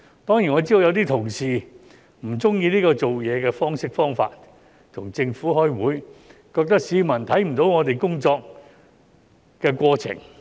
當然，我知道有些同事不喜歡這種做事方式、方法，與政府開會，認為市民看不到議員工作的過程。